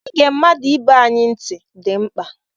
Ịge mmadụ ibe anyị ntị dị mkpa.